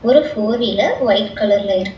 ஒரு four wheeler white கலர்ல இருக்.